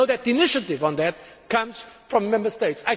As you know, the initiative on that comes from the Member States.